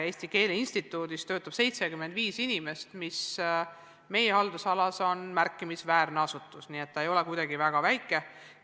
Eesti Keele Instituudis töötab 75 inimest, seega EKI on meie haldusalas märkimisväärne asutus, teda ei saa kuidagi pidada väga väikseks.